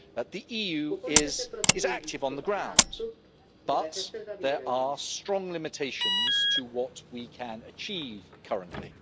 The EU is active on the ground, but there are strong limitations to what we can achieve currently.